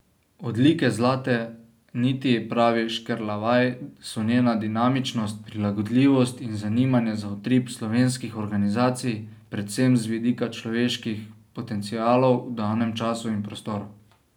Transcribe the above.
Odlike Zlate niti, pravi Škerlavaj, so njena dinamičnost, prilagodljivost in zanimanje za utrip slovenskih organizacij predvsem z vidika človeških potencialov v danem času in prostoru.